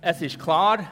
Es ist klar: